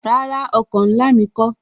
Rárá, oko ńlá mi kó